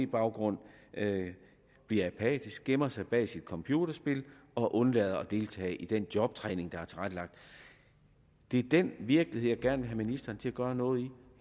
baggrund bliver apatisk gemmer sig bag sit computerspil og undlader at deltage i den jobtræning der er tilrettelagt det er den virkelighed jeg gerne vil have ministeren til at gøre noget ved